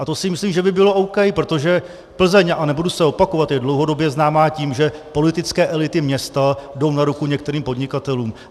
A to si myslím, že by bylo OK, protože Plzeň, a nebudu se opakovat, je dlouhodobě známá tím, že politické elity města jdou na ruku některým podnikatelům.